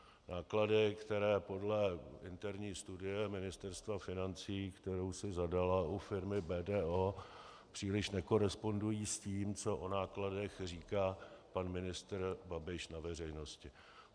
Náklady, které podle interní studie Ministerstva financí, kterou si zadala u firmy BDO, příliš nekorespondují s tím, co o nákladech říká pan ministr Babiš na veřejnosti.